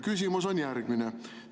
Küsimus on järgmine.